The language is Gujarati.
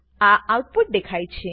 આ આઉટપુટ દેખાય છે